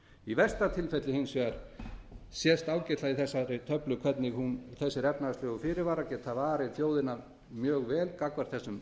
í versta tilfelli hins vegar sést ágætlega í þessari töflu hvernig þessir efnahagslegu fyrirvarar geta varið þjóðina mjög vel gegn þessum